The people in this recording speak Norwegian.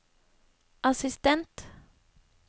assistent